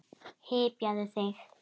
Hypjaðu þig.